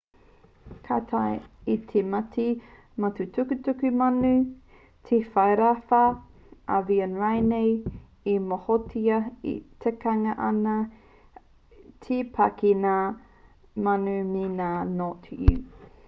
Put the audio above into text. ka taea e te mate mātukutuku manu te rewharewha avian rānei e mōhiotia tikangia ana te pā ki ngā manu me ngā ngote ū